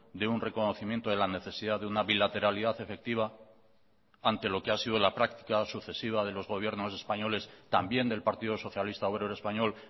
de un reconocimiento de la necesidad de una bilateralidad efectiva ante lo que ha sido la práctica sucesiva de los gobiernos españoles también del partido socialista obrero español